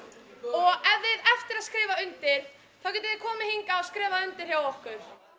og ef þið eftir að skrifa undir þá getið þið komið hingað og skrifað undir hjá okkur